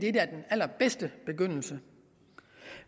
er den allerbedste begyndelse